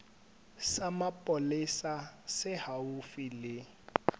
sa mapolesa se haufi le